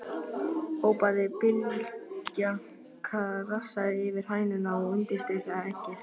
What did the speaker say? hrópaði Bylgja, krassaði yfir hænuna og undirstrikaði eggið.